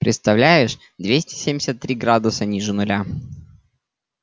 представляешь двести семьдесят три градуса ниже нуля